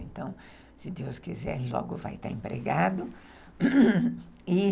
Então, se Deus quiser, logo vai estar empregado.